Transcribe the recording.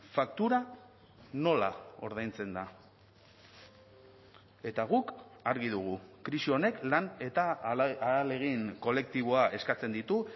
faktura nola ordaintzen da eta guk argi dugu krisi honek lan eta ahalegin kolektiboa eskatzen ditu